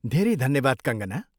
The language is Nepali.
धेरै धन्यवाद कङ्कना!